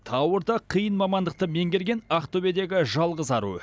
ауыр да қиын мамандықты меңгерген ақтөбедегі жалғыз ару